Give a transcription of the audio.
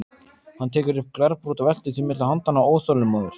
Hann tekur upp glerbrot og veltir því milli handanna, óþolinmóður.